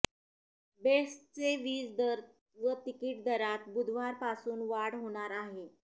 बेस्टचे वीज दर व तिकीट दरात बुधवारपासून वाढ होणार आहे